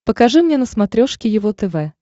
покажи мне на смотрешке его тв